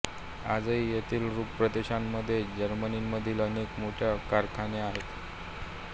आजही येथील रूर प्रदेशामध्ये जर्मनीमधील अनेक मोठे कारखाने आहेत